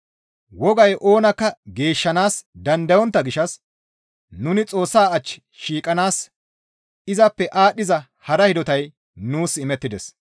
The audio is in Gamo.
Wogay oonakka geeshshanaas dandayontta gishshas nuni Xoossa ach shiiqanaas izappe aadhdhiza hara hidotay nuus imettides.